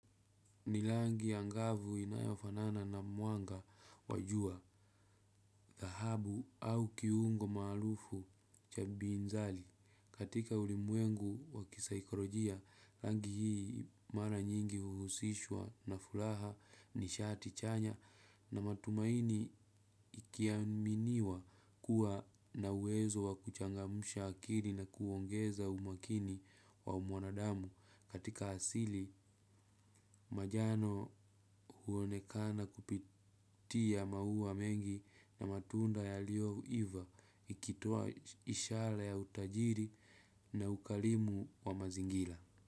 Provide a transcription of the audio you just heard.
Ni langi angavu inayofanana na mwanga wa jua, dhahabu au kiungo maalufu cha binzali. Katika ulimwengu wa kisaikorojia, rangi hii mara nyingi huhusishwa na furaha nishati chanya na matumaini ikiaminiwa kuwa na uwezo wa kuchangamsha akili na kuongeza umakini wa umwanadamu. Katika asili, majano huonekana kupitia maua mengi na matunda yalioiva ikitoa ishala ya utajiri na ukalimu wa mazingila.